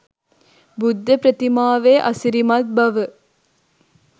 බුද්ධප්‍රතිමාවේ අසිරිමත් බව